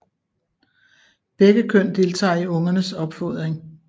Begge køn deltager i ungernes opfodring